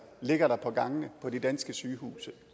ligger der på gangene på de danske sygehuse